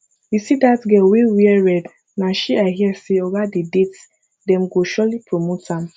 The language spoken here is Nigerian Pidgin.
you see dat girl wey wear red na she i hear say oga dey date dem go surely promote am